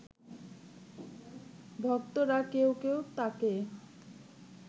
ভক্তরা কেউ কেউ তাঁকে